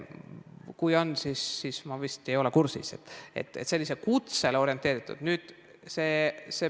Kui neid programme on, mis on selliste kutsete saamisele orienteeritud, siis ma ei ole kursis.